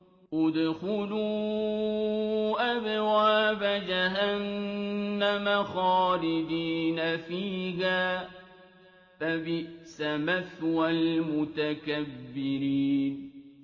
ادْخُلُوا أَبْوَابَ جَهَنَّمَ خَالِدِينَ فِيهَا ۖ فَبِئْسَ مَثْوَى الْمُتَكَبِّرِينَ